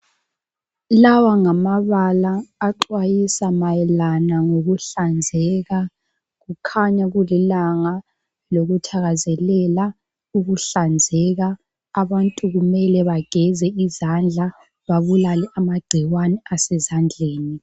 Lawa ngamabala axwayisa mayelana ngokuhlanzeka. Kukhanya kulilanga lokuthakazelela ukuhlanzeka. Abantu kumele bageze izandla babulale amagcikwane asezandleni.